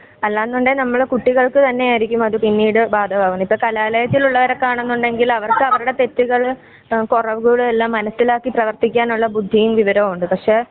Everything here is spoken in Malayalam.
അല്ലാന്നുണ്ടേൽ നമ്മുടെ കുട്ടികൾക്ക് തന്നെയായിരിക്കും പിന്നീട് ബാധകമാവുന്നത്.ഇപ്പ കലാലയത്തിലുള്ളവരൊക്കെ ആണന്നുണ്ടെങ്കില് അവർക്ക് അവരുടെ തെറ്റുകള് കൊറവുകള് എല്ലാം മനസിലാക്കി പ്രവർത്തിക്കാനുള്ള ബുദ്ധിയും വിവരവുമുണ്ട് പക്ഷേ